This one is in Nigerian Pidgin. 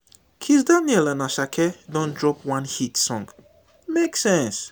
kizz daniel and asake don drop one hit song e make sense o